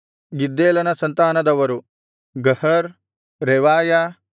ಗಿದ್ದೇಲನ ಸಂತಾನದವರು ಗಹರ್ ರೆವಾಯ